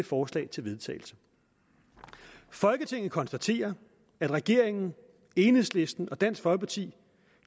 forslag til vedtagelse folketinget konstaterer at regeringen enhedslisten og dansk folkeparti